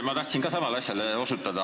Ma tahtsin ka samale asjale osutada.